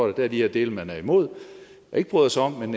at der er de her dele man er imod og ikke bryder sig om men